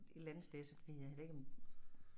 Et eller andet sted så ved jeg heller ikke om